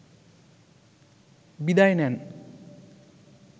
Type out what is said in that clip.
বিদায় নেন